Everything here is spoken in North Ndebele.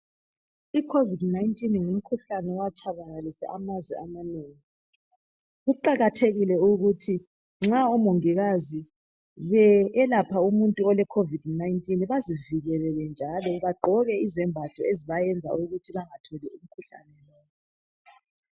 I COVID 19 ngumkhuhlane owatshabalalisa amazwe amanengi. Kuqakathekile ukuthi nxa omongikazi beselapha umuntu ole COVID-19 bazivikele njalo bagqoke izembatho ezibavikela ukuthi bengatholi umkhuhlane.